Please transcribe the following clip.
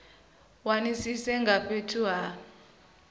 wanisise nga ha fhethu ha